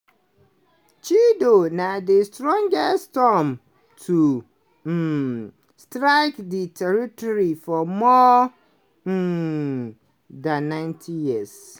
chido na di strongest storm to um strike di territory for more um dan 90 years.